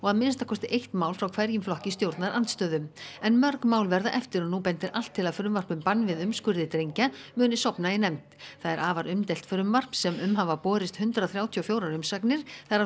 að minnsta kosti eitt mál frá hverjum flokki stjórnarandstöðu en mörg mál verða eftir og nú bendir allt til að frumvarp um bann við umskurði drengja muni sofna í nefnd það er afar umdeilt frumvarp sem um hafa borist hundrað þrjátíu og fjórar umsagnir þar af